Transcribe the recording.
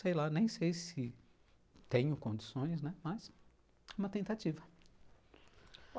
Sei lá, nem sei se tenho condições, né, mas é uma tentativa.